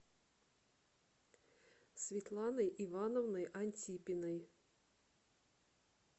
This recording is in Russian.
светланой ивановной антипиной